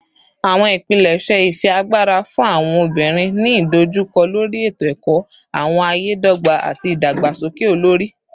Awọn ipilẹṣẹ ifiagbara fun awọn obinrin ni idojukọ lori eto-ẹkọ, awọn aye dogba, ati idagbasoke olori